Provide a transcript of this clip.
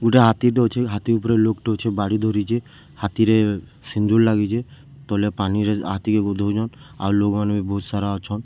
ଗୁଟେ ହାତୀ ଟେ ଅଛେ ହାତୀ ଉପରେ ଲୋକ୍‌ ଟେ ଅଛେ ବାଡ଼ି ଧରିଛେ ହାତୀରେ ସିନ୍ଦୂର ଲାଗିଛେ ତଲେ ପାନି ରେ ହାତୀ କେ ଗୁଧଉଛନ୍‌ ଆଉ ଲୋକ୍‌ ମାନେ ବି ବହୁତ୍‌ ସାରା ଅଛନ୍‌ ସିଆଡେ ଡ--